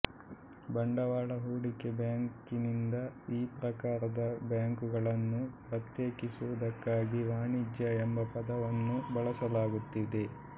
ಬಂಡವಾಳ ಹೂಡಿಕೆ ಬ್ಯಾಂಕಿನಿಂದ ಈ ಪ್ರಕಾರದ ಬ್ಯಾಂಕುಗಳನ್ನು ಪ್ರತ್ಯೇಕಿಸುವುದಕ್ಕಾಗಿ ವಾಣಿಜ್ಯ ಎಂಬ ಪದವನ್ನು ಬಳಸಲಾಗುತ್ತಿದೆ